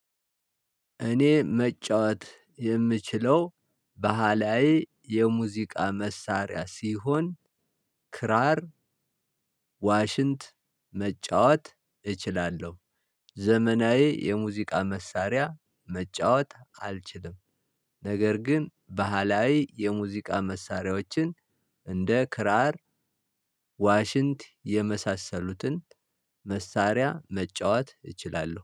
እኔ መጫወት የምችለው ባህላዬ የሙዚቃ መሳሪያ ሲሆን ክራር ዋሽንት መጫወት እችላለሁ። ዘመናዊ የሙዚቃ መሳሪያ መጫወት አልችልም። ነገር ግን ባህላዊ የሙዚቃ መሳሪያዎችን እንደ ክራር ዋሽንት የመሳሰሉትን መሳሪያ መጫወት እችላለሁ